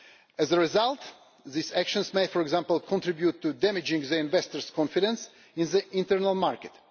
As a result, these actions may, for example, contribute to damaging investors' confidence in the internal market.